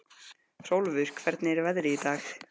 Hrólfur, hvernig er veðrið í dag?